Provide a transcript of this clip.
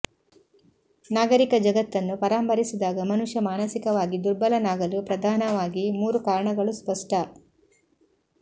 ನಾಗರಿಕ ಜಗತ್ತನ್ನು ಪರಾಂಬರಿಸಿದಾಗ ಮನುಷ್ಯ ಮಾನಸಿಕವಾಗಿ ದುರ್ಬಲನಾಗಲು ಪ್ರಧಾನವಾಗಿ ಮೂರು ಕಾರಣಗಳು ಸ್ಪಷ್ಟ